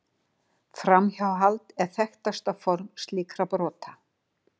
Framhjáhald er þekktasta form slíkra brota.